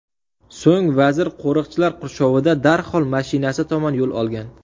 So‘ng vazir qo‘riqchilar qurshovida darhol mashinasi tomon yo‘l olgan.